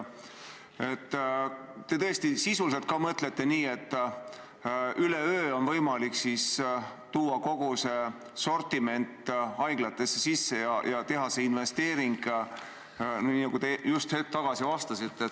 Kas te tõesti mõtlete nii, et üleöö on võimalik tuua kogu see sortiment haiglatesse sisse ja teha see investeering, nagu te just hetk tagasi vastates ütlesite?